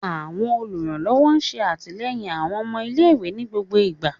Awọn oluranlọwọ ṣe atilẹyin awọn ọmọ ile-iwe ni gbogbo igba